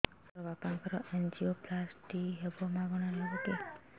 ସାର ମୋର ବାପାଙ୍କର ଏନଜିଓପ୍ଳାସଟି ହେବ ମାଗଣା ରେ ହେବ କି